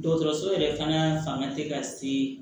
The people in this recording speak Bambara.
Dɔgɔtɔrɔso yɛrɛ fana tɛ ka se